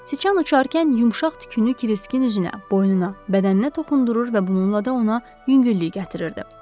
Siçan uçarkən yumşaq tükünü Kiriskin üzünə, boynuna, bədəninə toxundurur və bununla da ona yüngüllük gətirirdi.